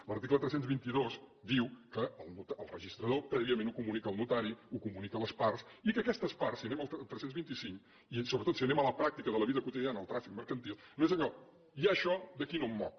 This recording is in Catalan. l’article tres cents i vint dos diu que el registrador prèviament ho comunica al notari ho comunica a les parts i que aquestes parts si anem al tres cents i vint cinc i sobretot si anem a la pràctica de la vida quotidiana del tràfic mercantil no és allò hi ha això d’aquí no em moc